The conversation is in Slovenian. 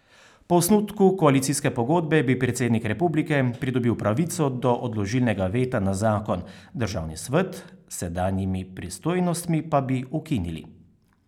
Po osnutku koalicijske pogodbe bi predsednik republike pridobil pravico do odložilnega veta na zakon, državni svet s sedanjimi pristojnostmi pa bi ukinili.